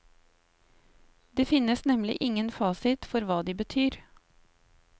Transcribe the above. Det finnes nemlig ingen fasit for hva de betyr.